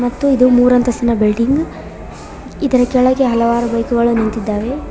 ಮತ್ತು ಇದು ಮೂರು ಅಂತಸ್ತಿನ ಬಿಲ್ಡಿಂಗ್ ಇದರ ಕೆಳಗೆ ಹಲವಾರು ಬೈಕುಗಳು ನಿಂತಿದ್ದಾವೆ.